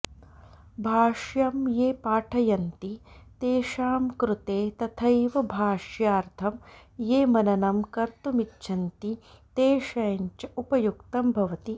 भाष्यं ये पाठयन्ति तेषां कृते तथैव भाष्यार्थं ये मननं कर्तुमिच्छन्ति तेषाञ्च उपयुक्तं भवति